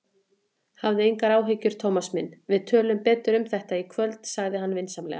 Hafðu engar áhyggjur, Thomas minn, við tölum betur um þetta í kvöld sagði hann vinsamlega.